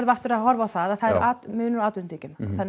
aftur að horfa á að það er munur á atvinnutekjum